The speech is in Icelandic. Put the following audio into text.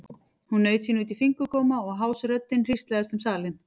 Hún naut sín út í fingurgóma og hás röddin hríslaðist um salinn.